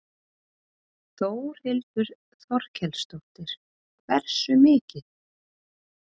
Þórhildur Þorkelsdóttir: Hversu mikið?